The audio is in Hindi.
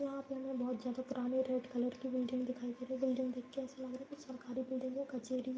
यहाँ पे हमें बहोत ज्यादा पुरानी रेड कलर की बिल्डिंग दिखाई दे रही बिल्डिंग देख के ऐसा लग रहा है कि सरकारी बिल्डिंग है कचहेरी है।